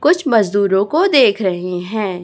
कुछ मजदूरों को देख रही हैं।